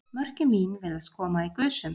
Mörkin mín virðast koma í gusum.